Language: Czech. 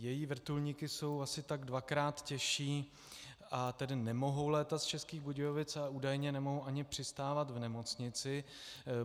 Její vrtulníky jsou asi tak dvakrát těžší, a tedy nemohou létat z Českých Budějovic, a údajně nemohou ani přistávat v nemocnici.